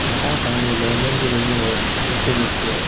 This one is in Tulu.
ಮಾತ ಫ್ಯಾಮಿಲಿ ಲ ಒಂಜೊಂಜಿ ರೂಮು ಡ್ ಒಟ್ಟುಗ್ ಉಪ್ಪುವೆರ್.